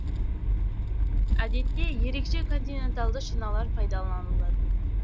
әдетте ерекше континенталды шиналар пайдаланылады